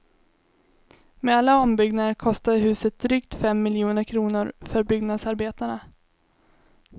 Med alla ombyggnader kostade huset drygt fem miljoner kronor för byggnadsarbetarna.